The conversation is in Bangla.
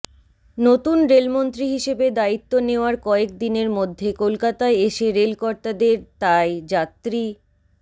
নতুন রেলমন্ত্রী হিসেবে দায়িত্ব নেওয়ার কয়েক দিনের মধ্যে কলকাতায় এসে রেলকর্তাদের তাই যাত্রী